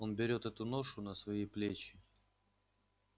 он берёт эту ношу на свои плечи